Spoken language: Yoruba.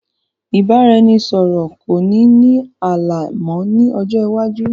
Ìbáraẹnisọọ̀rọ̀ kò ní ní ààlà mọ ni ọjọ́ iwájú